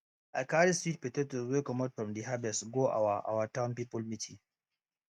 i carry sweet potatoes wey comot from de harvest go our our town people meeting